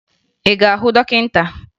Ị gara hụ dọkịta?